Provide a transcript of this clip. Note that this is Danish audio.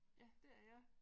Ja det er jeg